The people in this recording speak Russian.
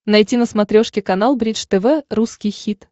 найти на смотрешке канал бридж тв русский хит